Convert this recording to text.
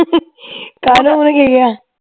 ਓਹਨੇ ਕਿ ਕਿਹਾ